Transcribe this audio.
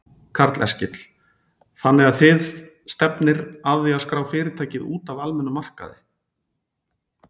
Karl Eskil: Þannig að þið stefnir að því að skrá fyrirtækið út af almennum markaði?